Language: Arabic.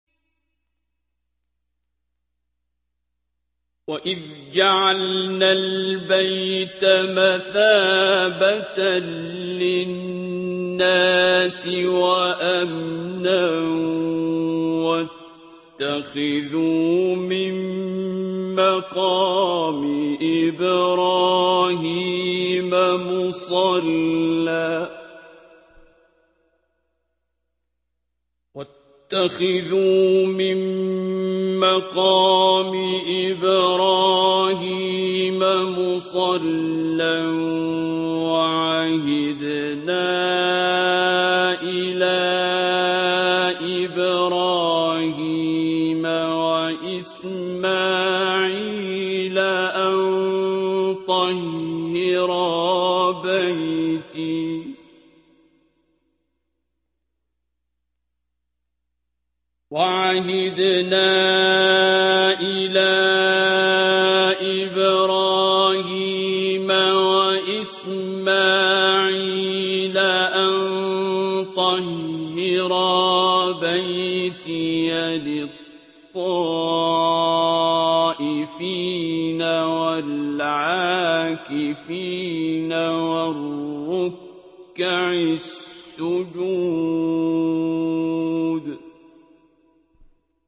وَإِذْ جَعَلْنَا الْبَيْتَ مَثَابَةً لِّلنَّاسِ وَأَمْنًا وَاتَّخِذُوا مِن مَّقَامِ إِبْرَاهِيمَ مُصَلًّى ۖ وَعَهِدْنَا إِلَىٰ إِبْرَاهِيمَ وَإِسْمَاعِيلَ أَن طَهِّرَا بَيْتِيَ لِلطَّائِفِينَ وَالْعَاكِفِينَ وَالرُّكَّعِ السُّجُودِ